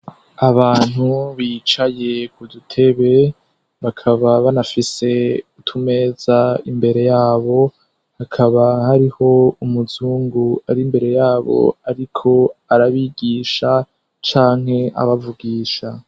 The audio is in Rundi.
Abantu bicaye ku dutebe, bakaba banafise utumeza imbere yabo, hakaba hariho umuzungu ari imbere yabo ariko arabigisha canke abavugisha.